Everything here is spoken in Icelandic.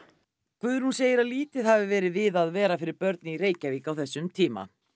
Guðrún segir að lítið hafi verið við að vera fyrir börn í Reykjavík á þessum tíma